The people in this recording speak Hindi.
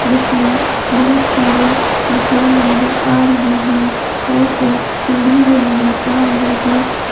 इसमें बहुत सारे दुकान नजर आ रहे हैं और एक सीढ़ी भी नजर आ रही है।